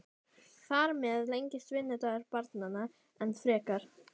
Þar með lengist vinnudagur barnanna enn frekar.